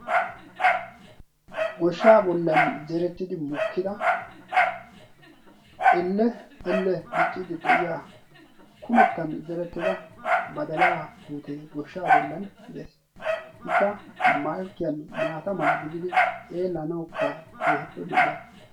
goshshaa bollan zerettidi mokkida ell ell dicciidi de7iya kumettan zerettida badalaa puutee goshshaa bollan de7ees ikka malkkiyan maata mala gididi xeelanaukka keehippe lo7iyaaga